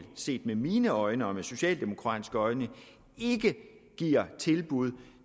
set med mine øjne og med socialdemokratiske øjne ikke giver tilbud